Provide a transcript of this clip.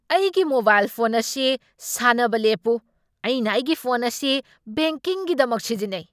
ꯑꯩꯒꯤ mobile phone ꯑꯁꯤ ꯁꯥꯟꯅꯕ ꯂꯦꯞꯄꯨ꯫ ꯑꯩꯅ ꯑꯩꯒꯤ ꯐꯣꯟ ꯑꯁꯤ ꯕꯦꯡꯀꯤꯡꯒꯤꯗꯃꯛ ꯁꯤꯖꯤꯟꯅꯩ꯫